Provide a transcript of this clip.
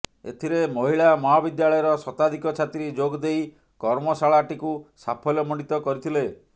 ଏଥିରେ ମହିଳା ମହାବିଦ୍ୟାଳୟର ଶତାଧିକ ଛାତ୍ରୀ ଯୋଗ ଦେଇ କର୍ମଶାଳା ଟିକୁ ସାଫଲ୍ୟ ମଣ୍ଡିତ କରିଥିଲେ